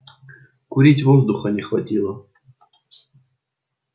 курить воздуха не хватало